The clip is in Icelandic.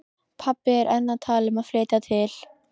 Pabbi er enn að tala um að flytja til